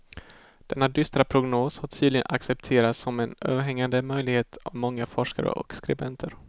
Denna dystra prognos har tydligen accepterats som en överhängande möjlighet av många forskare och skribenter.